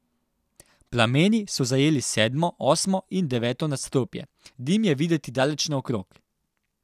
Plameni so zajeli sedmo, osmo in deveto nadstropje, dim je videti daleč naokrog.